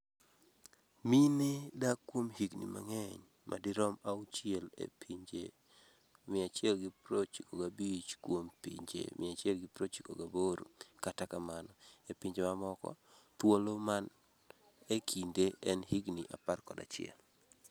Mine dak kuom higni mang'eny madirom auchiel e pinje 195 kuom pinje 198 Kata kamano, e pinje mamoko, thuolo man e kinde en higni 11.